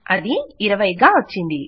అది 20 గా వచ్చింది